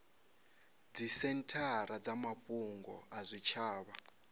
dzisenthara dza mafhungo a zwitshavha